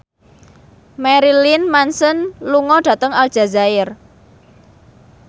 Marilyn Manson lunga dhateng Aljazair